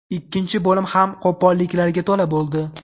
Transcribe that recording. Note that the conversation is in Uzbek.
Ikkinchi bo‘lim ham qo‘polliklarga to‘la bo‘ldi.